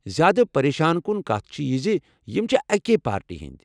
زیادٕ پریشان کُن کتھ چھےٚ یہ زِ یم چھ اکۍ پارٹی ہنٛدۍ۔